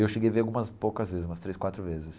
Eu cheguei a ver algumas poucas vezes, umas três, quatro vezes.